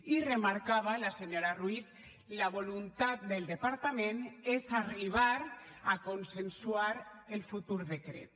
i remarcava la senyora ruiz la voluntat del departament és arribar a consensuar el futur decret